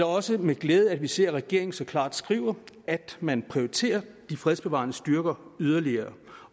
også med glæde at vi ser at regeringen så klart skriver at man prioriterer de fredsbevarende styrker yderligere